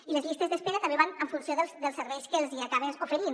i les llistes d’espera també van en funció dels serveis que els hi acaben oferint